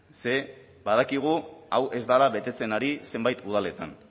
ze badakigu hau ez bada betetzen ari zenbait udaletan